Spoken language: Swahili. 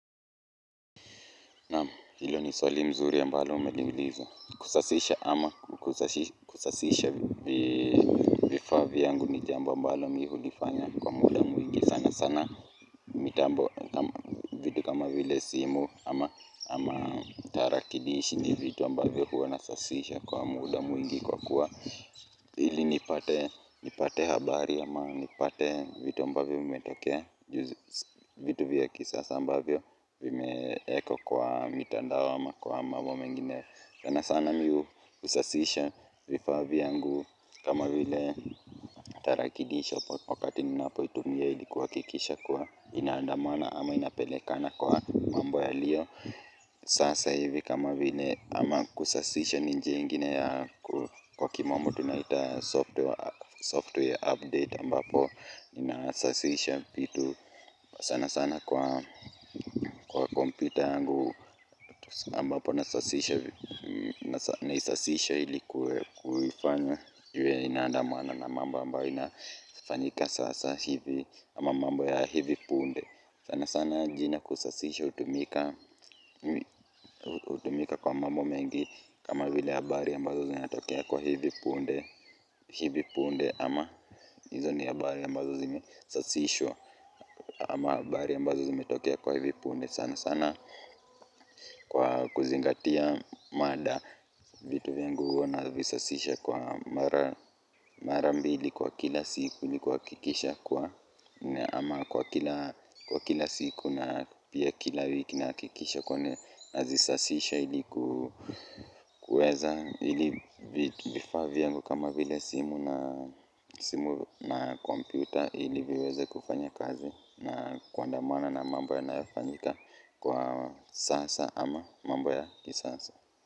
Naam hilo ni swali mzuri ambalo umeliuliza kusasisha ama kusasisha vifa vyangu ni jambo ambalo mi hulifanya kwa muda mwingi sana sana mitambo vitu kama vile simu ama tarakilishi ni vitu ambavyo huwa nasasisha kwa muda mwingi kwa kuwa ili nipate habari ama nipate vitu ambavyo vimetoke vitu vya kisasa ambavyo vimeekwa kwa mitandao ama kwa mambo mengine sana sana mi husasisha vifaa vyangu kama vile tarakilishi wakati nina poitumia ilikuhakikisha kuwa inaandamana ama inapele kana kwa mambo yaliyo sasa hivi kama vile ama kusasisha ni njia ingine ya kwa kimombo tunaita software update ambapo inasasisha vitu sana sana kwa kompyuta yangu ambapo naisasisha ili kuifanya iwe inandamana na mamba ambayo inafanyika sasa hivi ama mambo ya hivi punde sana sana jina kusasishwa hutumika utumika kwa mambo mengi kama vile habari ambazo zinatokea kwa hivi punde hivi punde ama hizo ni habari ambazo zime sasishwa ama bari ambazo zime tokea kwa hivi punde sana sana kwa kuzingatia mada vitu vingi uwa na visasisha kwa mara mbili kwa kila siku ilikuwa kikisha kwa ama kwa kila kwa kila siku na pia kila wiki na hakikisha kwenye nazisasisha ilikuweza ili vifaa vyangu kama vile simu na simu na kompyuta ili viweze kufanya kazi na kuandamana na mambo yanayofanyika kwa sasa ama mambo ya kisasa.